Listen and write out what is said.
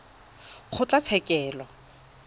kgotlatshekelo